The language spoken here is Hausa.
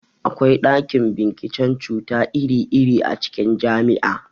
Akwa ɗakin binciken cuta iri-iri a cikin jami'a.